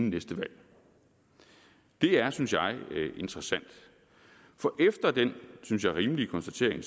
næste valg det er synes jeg interessant for efter den synes jeg rimelige konstatering